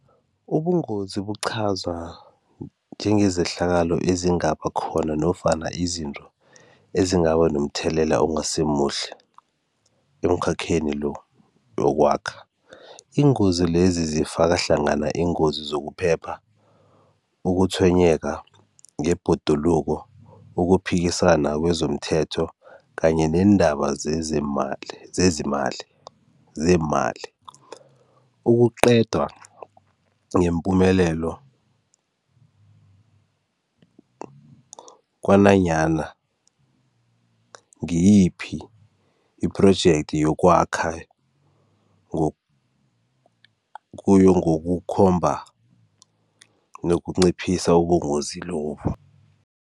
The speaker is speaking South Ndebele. Ubungozi bokuqhaza njengezehlakalo ezingaba khona nofana izinto ezingaba nomthelela ongasimuhle emkhakheni lo wokwakha. Iingozi lezi zifaka hlangana iingozi zokuphepha, ukutshwenyeka ngebhoduluko, ukuphikisana kwezomthetho kanye neendaba zezeemali zezimali, zeemali, ukuqedwa ngeempumelelo kwananyana ngiyiphi i-project yokwakha , kuyo ngokukhomba nokunciphisa ubungozi lobu.